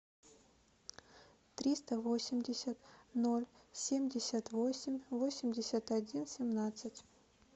триста восемьдесят ноль семьдесят восемь восемьдесят один семнадцать